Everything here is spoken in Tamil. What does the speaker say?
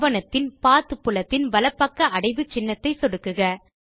ஆவணத்தின் பத் புலத்தின் வலப் பக்க அடைவு சின்னத்தை சொடுக்குக